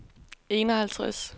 enoghalvtreds